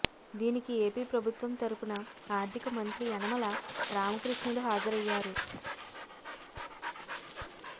దీనికి ఏపీ ప్రభుత్వం తరుపున ఆర్థిక మంత్రి యనమల రామకృష్ణుడు హాజరయ్యారు